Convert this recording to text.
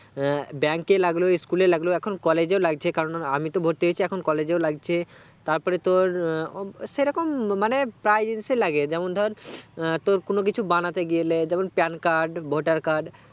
আহ bank এ লাগলো school এ লাগলো এখন collage এও লাগছে কারণ আআমি তো ভর্তি হয়েছি এখন collage এও লাগছে তার পরে তোর আহ আসেরকম মানে প্রায় জিনিসে লাগে যেমন ধর তোর কোনো কিছু বানাতে গেলে যেমন PAN card voter card